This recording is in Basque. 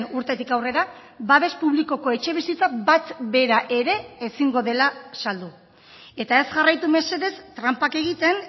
urtetik aurrera babes publikoko etxebizitza bat bera ere ezingo dela saldu eta ez jarraitu mesedez tranpak egiten